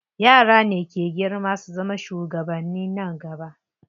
Yara ne ke girma su zama shugabanni nan gaba.